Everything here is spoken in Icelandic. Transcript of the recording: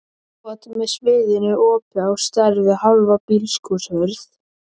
skot með sviðnu opi á stærð við hálfa bílskúrshurð.